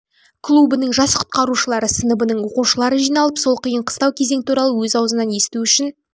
клубының жас құтқарушылары сыныбының оқушылары жиналып сол қиын қыстау кезең туралы өз аузынан есту үшін